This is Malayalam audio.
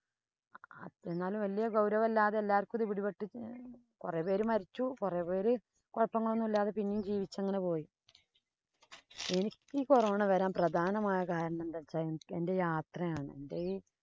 എന്നാലും വല്യ ഗൌരവമില്ലാതെ എല്ലാര്‍ക്കും ഇത് പിടിപ്പെട്ടു. കൊറേ പേര് മരിച്ചു. കൊറേ പേര് കുഴപ്പങ്ങളൊന്നുമില്ലാതെ പിന്നെയും ജീവിച്ചു അങ്ങനെ പോയി. എനിക്ക് ഈ corona വരാന്‍ പ്രധാനമായ കാരണം എന്താന്ന് വച്ചാല്‍ എന്‍റെ യാത്രയാണ്‌.